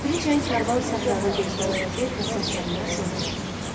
Tədricən kərvan səhrada gözdən itir və səslənmə sona yetir.